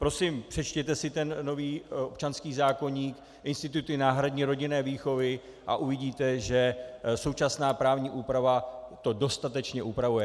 Prosím, přečtěte si ten nový občanský zákoník, instituty náhradní rodinné výchovy, a uvidíte, že současná právní úprava to dostatečně upravuje.